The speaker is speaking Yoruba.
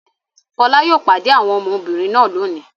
Fọlá yóò pade àwọn ọmọbìnrin náà lónìí!